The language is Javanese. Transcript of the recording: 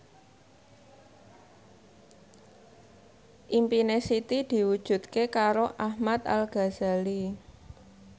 impine Siti diwujudke karo Ahmad Al Ghazali